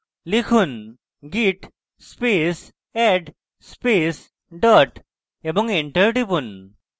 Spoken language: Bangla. লিখুন: git space add space dot এবং enter টিপুন